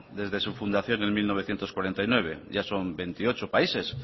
desde su fundación en mil novecientos cuarenta y nueve ya son veintiocho países